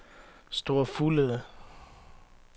Store Fuglede